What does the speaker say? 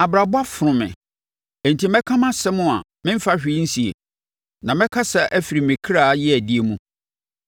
“Abrabɔ afono me; enti mɛka mʼasɛm a meremfa hwee nsie na mɛkasa afiri me kra yeadie mu.